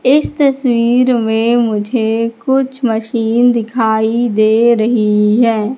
इस तस्वीर में मुझे कुछ मशीन दिखाई दे रही है।